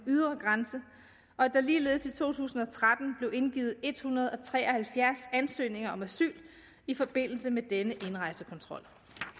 ydre grænse og at der ligeledes i to tusind og tretten blev indgivet en hundrede og tre og halvfjerds ansøgninger om asyl i forbindelse med denne indrejsekontrol